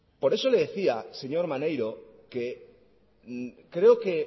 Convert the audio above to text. por eso le decía señor maneiro que creo que